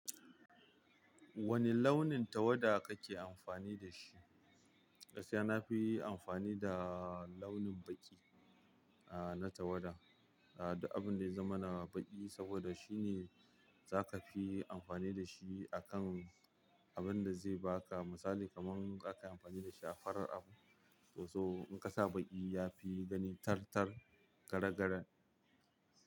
Wane launin tawada kake amfani da shi? Gaskiya nafi amfani da launin baƙi, a na tawada. Abun da ya zama na baƙi saboda shine za ka fi amfani da shi a kan abunda zai baka misali kaman zaka yi amfani dashi a farar abu so so in ka sa baƙi ya fi gani tartar gare garen.